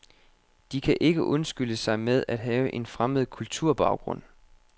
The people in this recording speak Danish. De kan ikke undskylde sig med at have en fremmed kulturbaggrund.